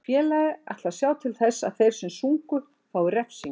Félagið ætlar að sjá til þess að þeir sem sungu fái refsingu.